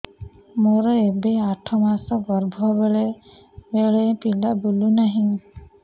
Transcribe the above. ମୋର ଏବେ ଆଠ ମାସ ଗର୍ଭ ବେଳେ ବେଳେ ପିଲା ବୁଲୁ ନାହିଁ